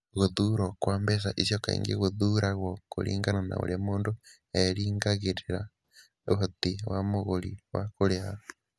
Gũthuurwo kwa mbeca icio kaingĩ gũthuuragwo kũringana na ũrĩa mũndũ erĩgagĩrĩra ũhoti wa mũgũri wa kũrĩha.